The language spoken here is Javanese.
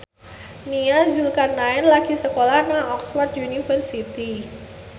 Nia Zulkarnaen lagi sekolah nang Oxford university